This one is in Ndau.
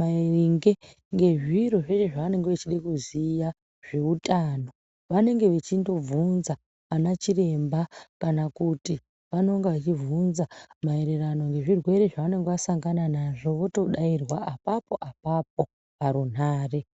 maringe nezviro zvavanenge vachida kuziya zveutano vanenge vechindobvunza ana chiremba kana kuti vanenga vechibvunza maererano nezvirwere zvavanenge vasangana nazvo votodairwa apapo apapo parunhare.